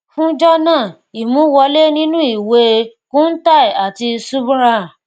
fún jọnà imú wọlé nínú ìwé e kuntal àti subhra